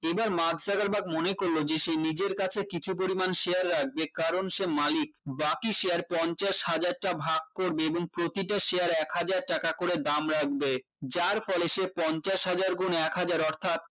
এইবার Mark Zuckerberg মনে করলো যে সে নিজের কাছে কিছু পরিমাণ share রাখবে কারণ সে মালিক বাকি share পঞ্চাশ হাজারটা ভাগ করবে এবং প্রতিটা share এক হাজার টাকা করে দাম রাখবে যার ফলে সে পঞ্চাশ হাজার গুণ এক হাজার অর্থাৎ